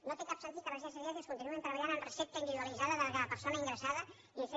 no té cap sentit que les residències geriàtriques continuïn treballant amb recepta individualitzada de cada persona ingressada i fent